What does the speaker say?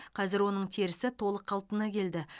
қазір оның терісі толық қалпына келді